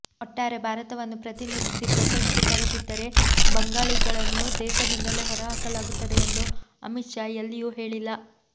ಒಟ್ಟಾರೆ ಭಾರತವನ್ನು ಪ್ರತಿನಿಧಿಸಿ ಪ್ರಶಸ್ತಿ ತರದಿದ್ದರೆ ಬಂಗಾಳಿಗಳನ್ನು ದೇಶದಿಂದಲೇ ಹೊರಹಾಕಲಾಗುತ್ತದೆ ಎಂದು ಅಮಿತ್ ಶಾ ಎಲ್ಲಿಯೂ ಹೇಳಿಲ್ಲ